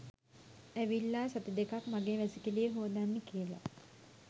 ඇවිල්ලා සති දෙකක් මගේ වැසිකිළිය හෝදන්න කියලා